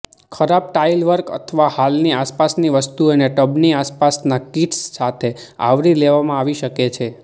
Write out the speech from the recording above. ખરાબ ટાઇલવર્ક અથવા હાલની આસપાસની વસ્તુઓને ટબની આસપાસના કિટ્સ સાથે આવરી લેવામાં આવી શકે છે